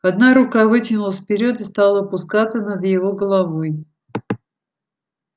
одна рука вытянулась вперёд и стала упускаться над его головой